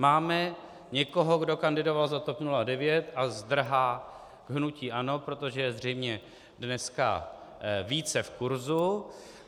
Máme někoho, kdo kandidoval za TOP 09 a zdrhá k hnutí ANO, protože je zřejmě dneska více v kurzu.